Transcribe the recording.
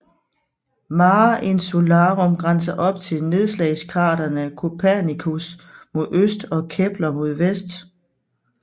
Mare Insularum grænser op til nedslagskraterne Copernicus mod øst og Kepler mod vest